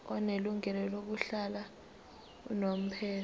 onelungelo lokuhlala unomphela